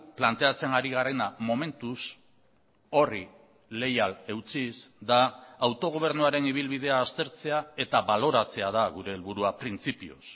planteatzen ari garena momentuz horri leial eutsiz da autogobernuaren ibilbidea aztertzea eta baloratzea da gure helburua printzipioz